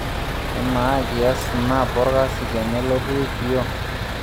Emaa kias snap orkasi tenelotu IPO